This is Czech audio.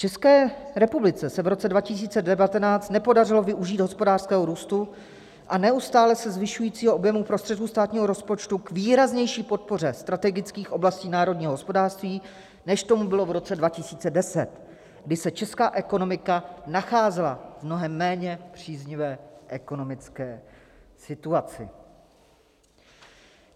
České republice se v roce 2019 nepodařilo využít hospodářského růstu a neustále se zvyšujícího objemu prostředků státního rozpočtu k výraznější podpoře strategických oblastí národního hospodářství, než tomu bylo v roce 2010, kdy se česká ekonomika nacházela v mnohem méně příznivé ekonomické situaci.